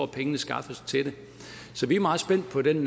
pengene skaffes til det så vi er meget spændte på den